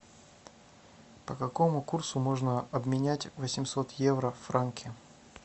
по какому курсу можно обменять восемьсот евро в франки